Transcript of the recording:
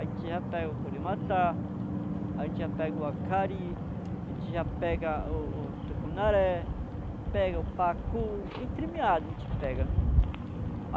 A gente já pega o curimatá, a gente já pega o acari, a gente já pega o o tucunaré, pega o pacu, entremiado a gente pega.